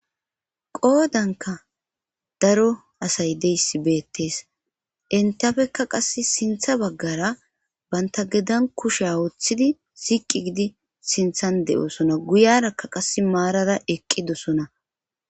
qoodanka daro asay deyssi beettes entafekka qass sintha baggara banta gedan kusheya woththidi siiqi gidi sinthan de7oosona guyarakka qasse maarara eqqidosona.